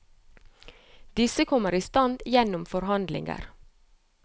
Disse kommer i stand gjennom forhandlinger.